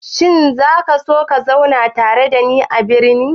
Shin za ka so ka zauna tare da ni a birni?